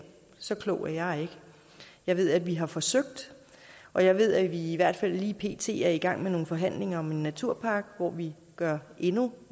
så klog er jeg ikke jeg ved at vi har forsøgt og jeg ved at vi i hvert fald lige pt er i gang med nogle forhandlinger om en naturpakke hvor vi gør endnu